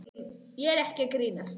Og ég er ekki að grínast.